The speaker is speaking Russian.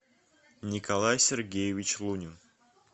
николай сергеевич лунин